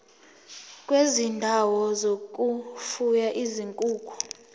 kwezindawo zokufuya izinkukhu